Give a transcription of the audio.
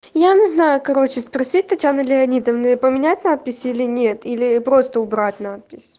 я не знаю короче спросить татьяны леонидовны поменять надпись или нет или просто убрать надпись